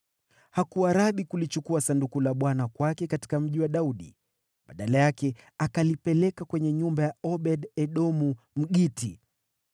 Hakuwa radhi kulichukua Sanduku la Bwana kwake katika Mji wa Daudi. Badala yake akalipeleka kwenye nyumba ya Obed-Edomu, Mgiti.